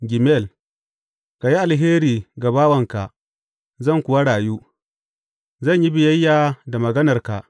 Gimel Ka yi alheri ga bawanka, zan kuwa rayu; zan yi biyayya da maganarka.